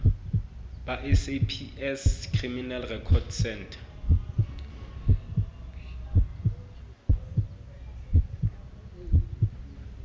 ba saps criminal record centre